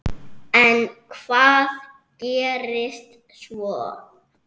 En hvað gerist svo?